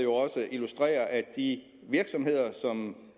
de virksomheder som